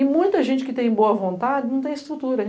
E muita gente que tem boa vontade não tem estrutura.